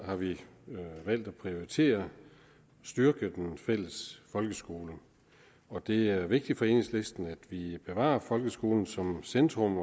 har vi valgt at prioritere at styrke den fælles folkeskole det er vigtigt for enhedslisten at vi bevarer folkeskolen som centrum